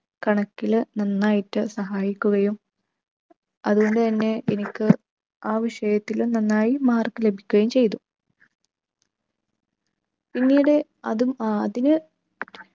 കണക്കില് നന്നായിട്ട് സഹായിക്കുകയും അതുകൊണ്ട് തന്നെ എനിക്ക് ആ വിഷയത്തിൽ നന്നായിട്ട് mark ലഭിക്കുകയും ചെയ്തു. പിന്നീട് അതും അഹ് അതില്